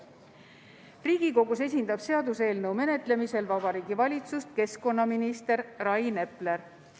Riigikogus esindab seaduseelnõu menetlemisel Vabariigi Valitsust keskkonnaminister Rain Epler.